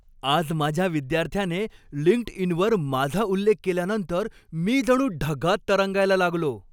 आज माझ्या एका विद्यार्थ्याने लिंक्डइनवर माझा उल्लेख केल्यानंतर मी जणू ढगात तरंगायला लागलो.